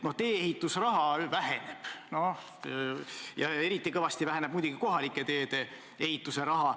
Tee-ehitusraha väheneb, eriti kõvasti väheneb kohalike teede ehituse raha.